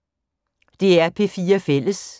DR P4 Fælles